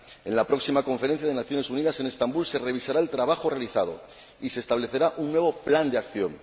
En la próxima Conferencia de las Naciones Unidas en Estambul se revisará el trabajo realizado y se establecerá un nuevo plan de acción.